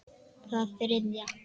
Það þriðja.